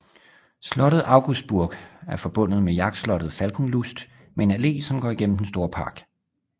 Slottet Augustburg er forbundet med jagtslottet Falkenlust med en allé som går gennem den store park